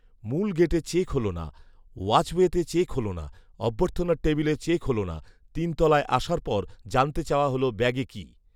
মূল গেটে চেক হলো না, ওয়াচওয়েতে চেক হলো না, অর্ভথ্যনার টেবিলে চেক হলো না, তিন তলায় আসার পর জানতে চাওয়া হলো, ব্যাগে কী